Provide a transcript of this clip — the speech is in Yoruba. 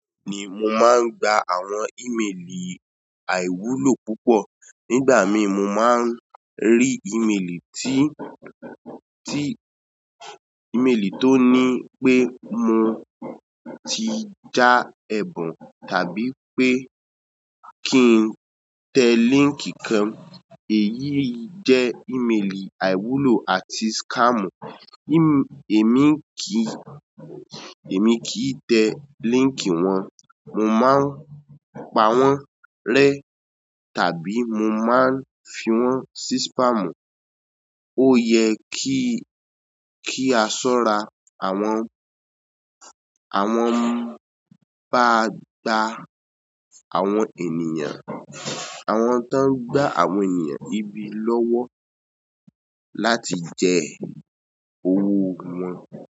Ni mo máa ń gba àwọn ìmelì àìwúlò púpọ̀. Nígbà míì mo máa ń rí ìmelì tí, tí, ìmelì tó ní pé mo ti já ẹ̀bùn tàbí pé kí n tẹ líńkì kan. Èyí jẹ́ ìmelì àìwúlò àti scam. Èmi kìí, èmi kìí tẹ líńkì wọn. Mo máa ń pa wọ́n rẹ́ tàbí mo máa ń fi wọ́n sí spam. Ó yẹ kí, kí a ṣọ́ra àwọn, àwọn bá gbá àwọn ènìyàn, àwọn tó ń gba àwọn ènìyàn ibi lọ́wọ́ láti jẹ owó wọn.